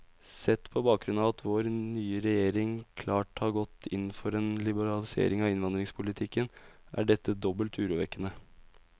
Sett på bakgrunn av at vår nye regjering klart har gått inn for en liberalisering av innvandringspolitikken, er dette dobbelt urovekkende.